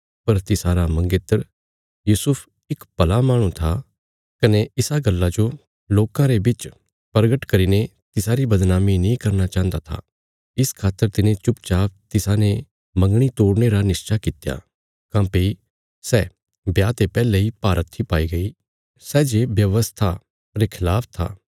पर तिसारा मंगेतर यूसुफ इक भला माहणु था कने इसा गल्ला जो लोकां रे बिच परगट करीने तिसारी बदनामी नीं करना चाहन्दा था इस खातर तिने चुपचाप तिसाने मंगणी तोड़ने रा निश्चा कित्या काँह्भई सै ब्याह ते पैहले इ भारहत्थी पाई गई सै जे व्यवस्था रे खलाफ था